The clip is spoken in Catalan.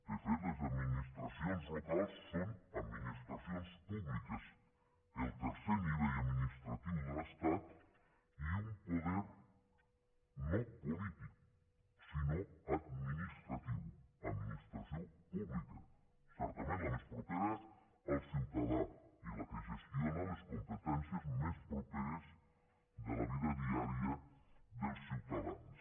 de fet les administracions locals són administracions públiques el tercer nivell administratiu de l’estat i un poder no polític sinó administratiu administració pública certament la més propera al ciutadà i la que gestiona les competències més properes de la vida diària dels ciutadans